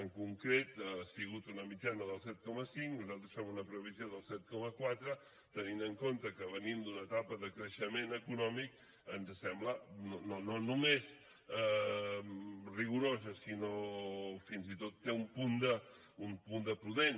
en concret ha sigut una mitjana del set coma cinc nosaltres fem una previsió del set coma quatre tenint en compte que venim d’una etapa de creixement econòmic ens sembla no només rigorosa sinó que fins i tot té un punt de prudent